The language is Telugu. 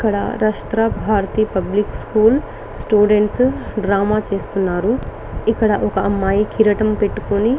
ఇక్కడ Rashtra Bharati public school students drama చేస్తున్నారు. ఇక్కడ ఒక అమ్మాయి కిరీటం పెట్టుకొని --